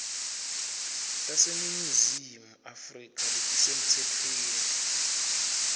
taseningizimu afrika letisemtsetfweni